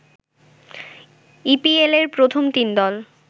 ইপিএলের প্রথম তিন দল